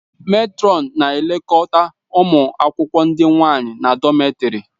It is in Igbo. Mètrọn na-elekọta ụmụ akwụkwọ ndị nwanyị na dọmètarì